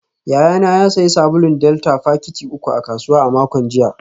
Yayana ya sayi sabulun delta fakiti uku a kasuwa a makon jiya